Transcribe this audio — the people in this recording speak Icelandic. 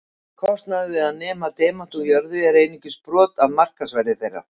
Kostnaður við að nema demanta úr jörðu er einungis brot af markaðsverði þeirra.